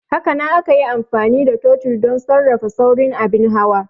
Hakanan ana iya amfani da totir don sarrafa saurin abin hawa.